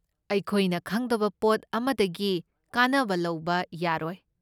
ꯑꯩꯈꯣꯏꯅ ꯈꯪꯗꯕ ꯄꯣꯠ ꯑꯃꯗꯒꯤ ꯀꯥꯟꯅꯕ ꯂꯧꯕ ꯌꯥꯔꯣꯏ꯫